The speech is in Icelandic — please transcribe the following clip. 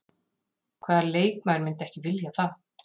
Hvaða leikmaður myndi ekki vilja það?